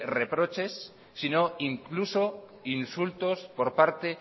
reproches sino incluso insultos por parte